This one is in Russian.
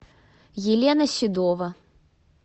елена седова